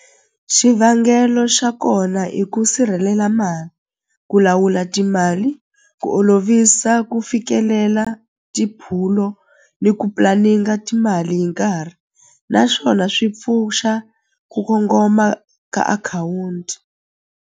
Xivangelo xa kona i ku sirhelela ku lawula timali ku olovisa ku fikelela tiphulo ni ku timali hi nkarhi, naswona swi pfuxa ku kongoma ka akhawunti.